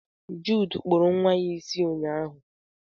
Jude kpuru nwa ya isi ụnyaahụ.